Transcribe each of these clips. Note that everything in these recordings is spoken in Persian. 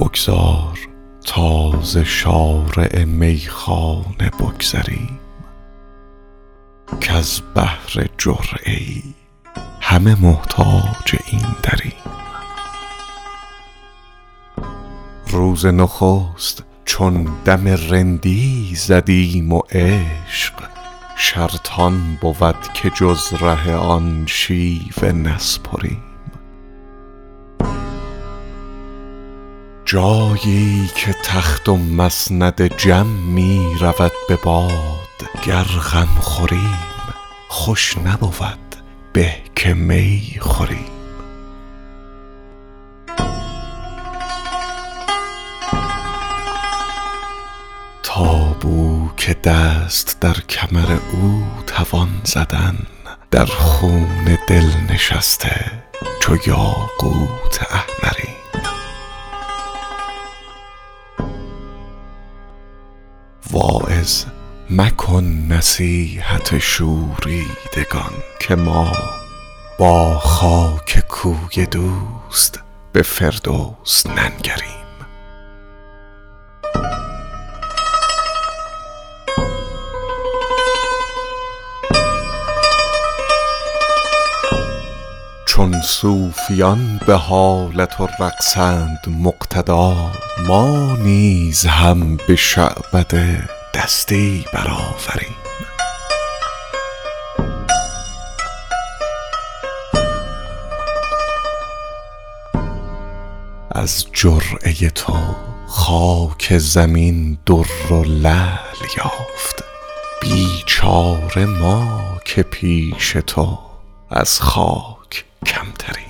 بگذار تا ز شارع میخانه بگذریم کز بهر جرعه ای همه محتاج این دریم روز نخست چون دم رندی زدیم و عشق شرط آن بود که جز ره آن شیوه نسپریم جایی که تخت و مسند جم می رود به باد گر غم خوریم خوش نبود به که می خوریم تا بو که دست در کمر او توان زدن در خون دل نشسته چو یاقوت احمریم واعظ مکن نصیحت شوریدگان که ما با خاک کوی دوست به فردوس ننگریم چون صوفیان به حالت و رقصند مقتدا ما نیز هم به شعبده دستی برآوریم از جرعه تو خاک زمین در و لعل یافت بیچاره ما که پیش تو از خاک کمتریم حافظ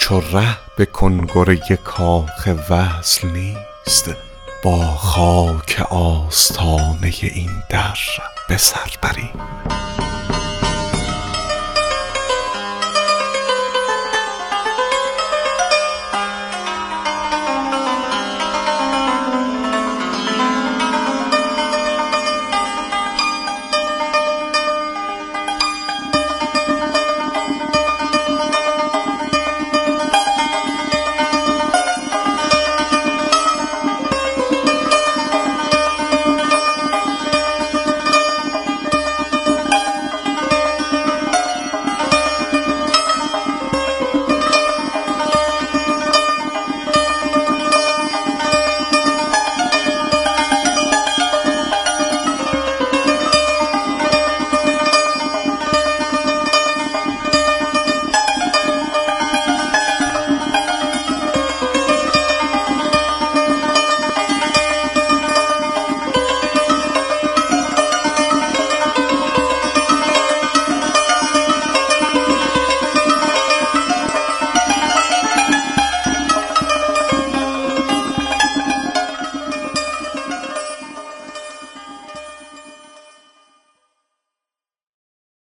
چو ره به کنگره کاخ وصل نیست با خاک آستانه این در به سر بریم